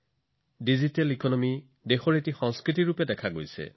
digital অৰ্থনীতিয়েও দেশত এক সংস্কৃতি ৰচনা কৰিছে